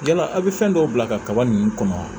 Yala aw bɛ fɛn dɔw bila ka kaba ninnu kɔnɔ